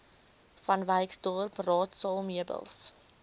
vanwyksdorp raadsaal meubels